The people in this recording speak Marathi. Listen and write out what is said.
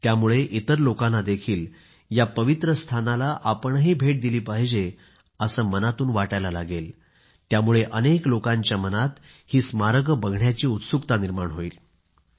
त्यामुळे इतर लोकांनाही या पवित्र स्थानाला आपणही भेट दिली पाहिजे अशी प्रेरणा मिळेल आणि ते सुद्धा या पवित्र स्थळाला भेट देण्यासाठी उत्सुक होतील